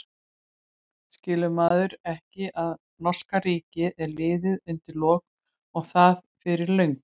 Skilur maðurinn ekki að norska ríkið er liðið undir lok og það fyrir löngu?